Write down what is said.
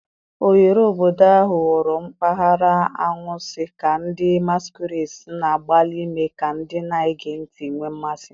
Oghere obodo ahụ ghọrọ mpaghara anwansi ka ndị masquerades na-agbalị ime ka ndị na-ege ntị nwee mmasị.